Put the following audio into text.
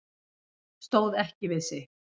Stóð ekki við sitt